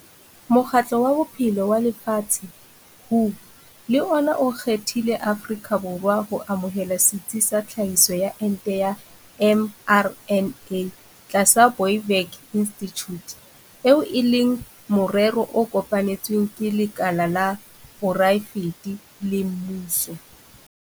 Mokgatlo wa Bophelo wa Lefatshe, WHO, le ona o kgethile Afrika Borwa ho amohela setsi sa tlhahiso ya ente ya mRNA tlasa Biovac Institute, eo e leng morero o kopanetsweng ke lekala la poraefete le mmuso.